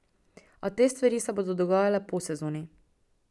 A te stvari se bodo dogajale po sezoni.